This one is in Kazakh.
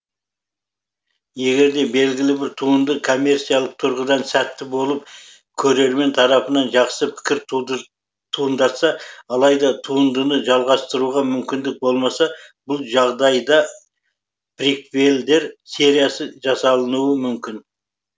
егерде белгілі бір туынды коммерциялық тұрғыдан сәтті болып көрермен тарапынан жақсы пікір туындатса алайда туындыны жалғастыруға мүмкіндік болмаса бұл жағдайда приквелдер сериясы жасалынуы мүмкін